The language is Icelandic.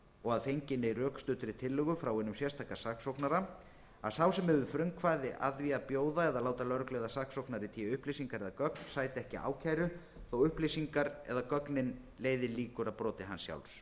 og að fenginni rökstuddri tillögu frá hinum sérstaka saksóknara að sá sem hefur frumkvæði að því að bjóða eða láta lögreglu eða saksóknara í té upplýsingar eða gögn sæti ekki ákæru þótt upplýsingar eða gögnin leiði líkur að broti hans sjálfs það er